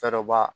Fɛɛrɛba